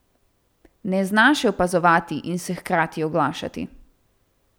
Ne zna še opazovati in se hkrati oglašati.